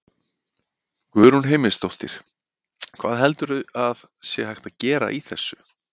Guðrún Heimisdóttir: Hvað heldurðu að sé hægt að gera í þessu?